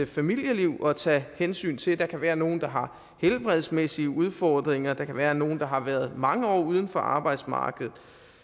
familieliv at tage hensyn til og der kan være nogle der har helbredsmæssige udfordringer der kan være nogle der har været mange år uden for arbejdsmarkedet